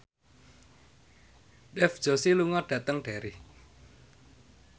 Dev Joshi lunga dhateng Derry